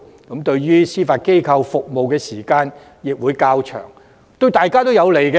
延長他們在司法機構服務的時間對大家都有好處。